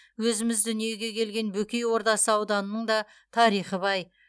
өзіміз дүниеге келген бөкей ордасы ауданының да тарихы бай